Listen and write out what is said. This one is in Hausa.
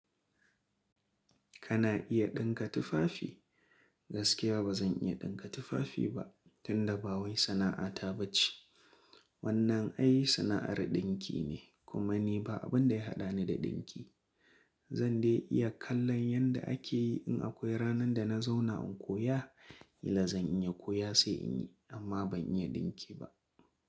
Kana iya ɗinka tufafi? Gaskiya ba zan iya ɗinka tufafi ba tunda ba wai sana'ata bace. Wannan ai sana'ar ɗinki ne kuma ni ba abin da ya haɗani da ɗinki. Zan dai iya kallon yanda ake yi in akwai ranan da na zauna in koya, kila zan iya koya sai in yi amma ban iya ɗinki ba.